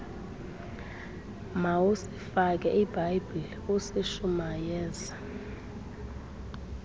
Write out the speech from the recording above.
mawusifake ibible usishumayeze